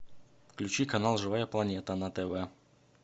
включи канал живая планета на тв